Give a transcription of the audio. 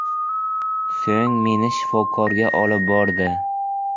So‘ng meni shifokorga olib bordi.